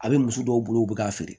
A bɛ muso dɔw bolo u bɛ k'a feere